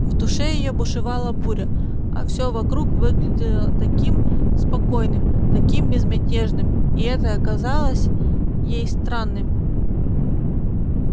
в душе её бушевала буря а всё вокруг выглядело таким спокойным таким безмятежным и это казалось ей странным